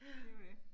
Ja